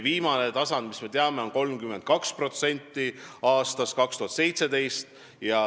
Viimane tasand, mida me teame, on 32% aastal 2017.